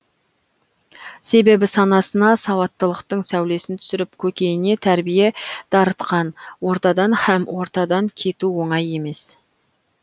себебі санасына сауаттылықтың сәулесін түсіріп көкейіне тәрбие дарытқан ордадан һәм ортадан кету оңай емес